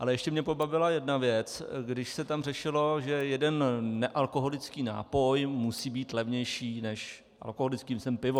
Ale ještě mě pobavila jedna věc, když se tam řešilo, že jeden nealkoholický nápoj musí být levnější než alkoholický - myslím pivo.